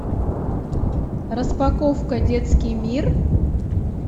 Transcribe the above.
распаковка детский мир